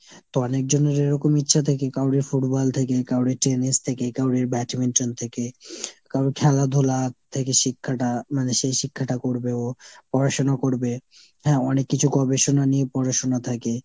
তো অনেক জনের এরকম ইচ্ছা থাকে কাউরির football থেকে, কাউরির Tennis থেকে, কাউরির badminton থেকে। কাউর খেলাধুলা থেকে শিক্ষাটা মানে সেই শিক্ষাটা করবে ও। পড়াশুনো করবে। হ্যাঁ অনেক কিছু করবে শুনা নিয়ে পড়াশুনা থাকে।